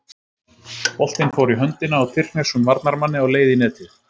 Boltinn fór í höndina á tyrkneskum varnarmanni á leið í netið.